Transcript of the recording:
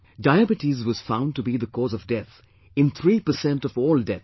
Diabetes was found to be the cause of death in three per cent of all deaths